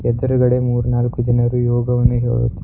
ಎದುರ್ ಗಡೆ ಮೂರ್ ನಾಲುಕ್ ಜನರು ಯೋಗವನ್ನು ಹೇಳುತ್ --